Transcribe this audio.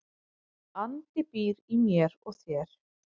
Andi býr í mér og þér.